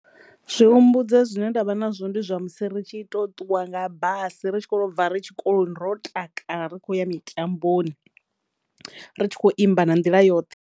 Zwi humbudza zwine ndavha nazwo ndi zwa musi ri tshi to ṱuwa nga basi ritshi kho to bva ri tshikoloni ro takala ri tshi kho ya mitamboni ritshi kho imba na nḓila yoṱhe.